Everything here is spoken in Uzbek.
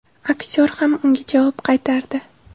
Aktyor ham unga javob qaytardi.